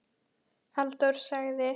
Halldór sagði